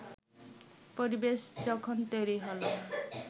পরিবেশ যখন তৈরি হলো